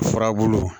Furabulu